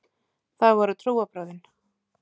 Það voru trúarbrögðin.